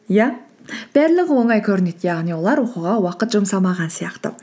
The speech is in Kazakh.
иә барлығы оңай көрінеді яғни олар оқуға уақыт жұмсамаған сияқты